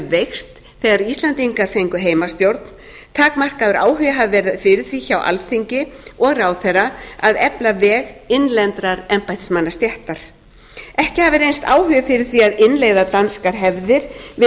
veikst þegar íslendingar fengu heimastjórn takmarkaður áhugi hafi verið fyrir því hjá alþingi og ráðherra að efla veg innlendrar embættismannastéttar ekki hafi reynst áhugi fyrir því að innleiða danskar hefðir við